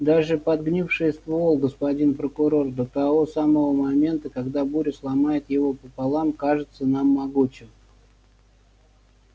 даже подгнивший ствол господин прокурор до того самого момента когда буря сломает его пополам кажется нам могучим